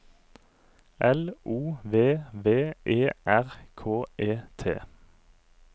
L O V V E R K E T